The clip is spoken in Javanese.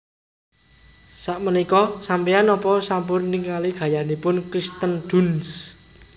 Sakmenika sampean nopo sampun ningali gayanipun Kirsten Dunst